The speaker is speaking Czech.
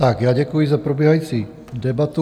Tak já děkuji za probíhající debatu.